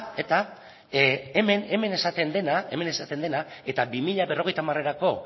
hemen esaten dena eta bi mila berrogeita hamarerako